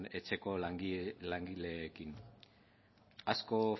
etxeko langileekin asko